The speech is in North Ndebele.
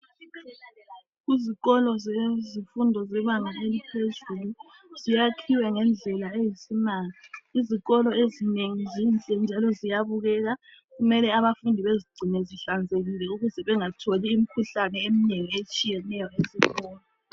Izsikolo zezifundo zebanga eliphezulu zyakhiwe ngendlela eyisimanga izikolo ezinengi zinhle njalo ziyabukeka kumele abafundi bazigcine zihlanzekile ukuze bengatholi imikhuhlane eminengi etshiyeneyo esikolo.